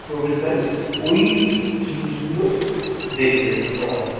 প্রবেশদ্বারে ওই জিনিসগুলোই দেখবে ওরা